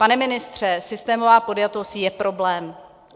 Pane ministře, systémová podjatost je problém.